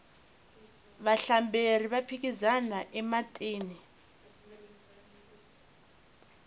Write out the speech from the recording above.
vahlamberi va phikizana ematini